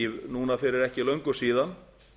núna fyrir ekki löngu síðan